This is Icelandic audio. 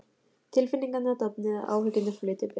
Tilfinningarnar dofnuðu og áhyggjurnar flutu burt.